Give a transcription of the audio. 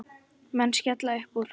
Menn skella uppúr.